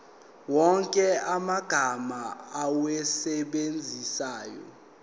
wonke amagama owasebenzisayo